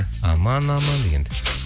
аман аман дегенді